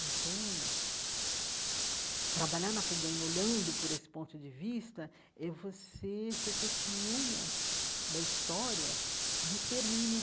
Então, trabalhar na FEBEM, olhando por esse ponto de vista, é você ser testemunha da história de extermínio